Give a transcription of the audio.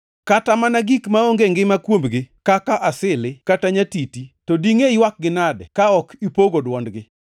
Kata mana gik maonge ngima kuomgi, kaka asili, kata nyatiti, to dingʼe ywakgi nadi ka ok ipogo dwondgi?